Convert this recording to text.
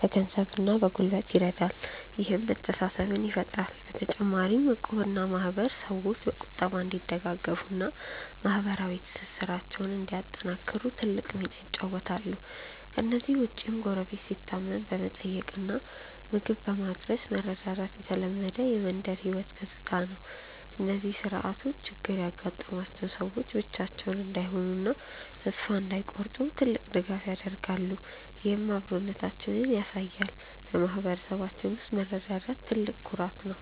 በገንዘብና በጉልበት ይረዳል፤ ይህም መተሳሰብን ይፈጥራል። በተጨማሪም እቁብና ማህበር ሰዎች በቁጠባ እንዲደጋገፉና ማህበራዊ ትስስራቸውን እንዲያጠናክሩ ትልቅ ሚና ይጫወታሉ። ከእነዚህ ውጭም ጎረቤት ሲታመም በመጠየቅና ምግብ በማድረስ መረዳዳት የተለመደ የመንደር ህይወት ገጽታ ነው። እነዚህ ስርዓቶች ችግር ያጋጠማቸው ሰዎች ብቻቸውን እንዳይሆኑና ተስፋ እንዳይቆርጡ ትልቅ ድጋፍ ይሆናሉ፤ ይህም አብሮነታችንን ያሳያል። በማህበረሰባችን ውስጥ መረዳዳት ትልቅ ኩራት ነው።